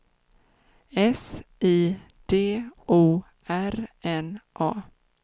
S I D O R N A